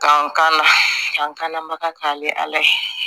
Ka n ka n kanna baga k'a bɛ ala ye